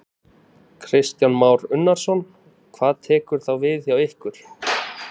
Kristján Már Unnarsson: Hvað tekur þá við hjá ykkur?